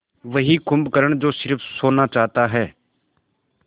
वही कुंभकर्ण जो स़िर्फ सोना चाहता है